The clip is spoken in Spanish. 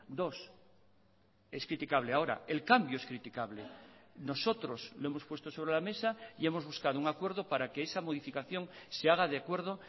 dos es criticable ahora el cambio es criticable nosotros lo hemos puesto sobre la mesa y hemos buscado un acuerdo para que esa modificación se haga de acuerdo